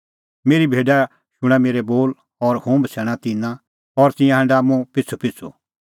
मेरी भेडा शूणां मेरै बोल और हुंह बछ़ैणा तिन्नां और तिंयां हांढा मुंह पिछ़ूपिछ़ू